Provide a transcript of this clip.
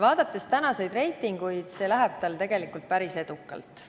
Vaadates tänaseid reitinguid, läheb see tal päris edukalt.